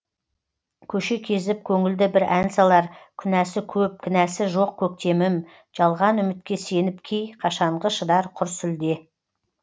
көше кезіп көңілді бір ән салар күнәсі көп кінәсі жоқ көктемім жалған үмітке сеніп кей қашанғы шыдар құр сүлде